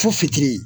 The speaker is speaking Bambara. Fo fitiri